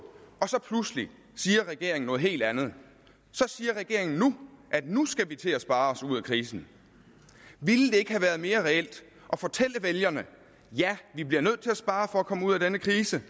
og så pludselig noget helt andet så siger regeringen at nu skal vi til at spare os ud af krisen ville det ikke have været mere reelt at fortælle vælgerne at vi bliver nødt til at spare for at komme ud af denne krise